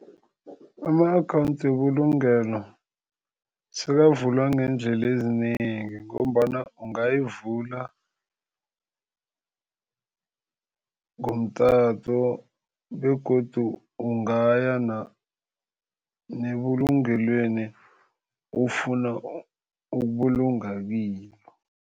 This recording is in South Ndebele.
Ama-akhawundi webulungelo sekavulwa ngeendlela ezinengi ngombana ungayivula ngomtato begodu ungaya nebulungelweni ofuna ukubulunga kilo.